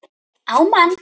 á mann.